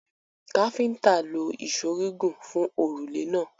Káfíńńtà lo ìṣó gígùn fun òrùlé náà.